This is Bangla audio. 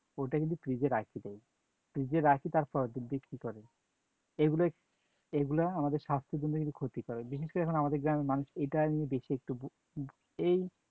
ওটা কিন্তু fridge এ রাখি দেয়, fridge এ রাখি তারপর বিক্রি করে, এগুলা এগুলা আমাদের স্বাস্থ্য এর জন্য কিন্তু ক্ষতিকর, বিশেষ করে এখন আমাদের গ্রামের মানুষ এটা নিয়ে বেশি একটু এই